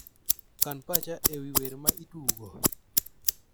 Kan pacha ewi wer ma itugo